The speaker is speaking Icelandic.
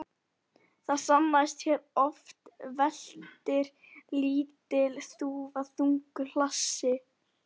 Það sannaðist hér að oft veltir lítil þúfa þungu hlassi.